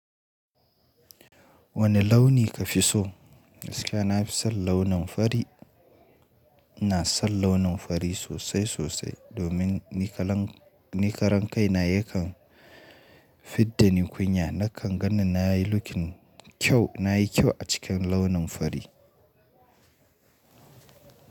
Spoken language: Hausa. Wane launi ka fi so? Gaskiya na fi son launin fari. Na son launin fari sosai sosai domin ni karan ni karan kai na yakan fidda ni kunya. Nakan ganin na yi looking kyau, na yi kyau a cikin launin fari.